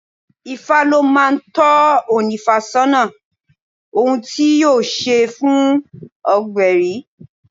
Ifá ló máa ń tọ́ ónífá sọ́nà ohun tí yóò ṣe fún ọgbẹri.